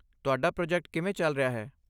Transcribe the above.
ਤੁਹਾਡਾ ਪ੍ਰੋਜੈਕਟ ਕਿਵੇਂ ਚੱਲ ਰਿਹਾ ਹੈ?